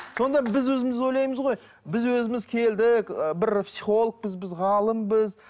сонда біз өзіміз ойлаймыз ғой біз өзіміз келдік ы бір психологпыз біз ғалымбыз